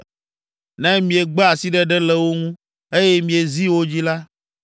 Ne miegbe asiɖeɖe le wo ŋu, eye miezi wo dzi la,